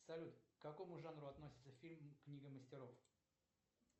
салют к какому жанру относится фильм книга мастеров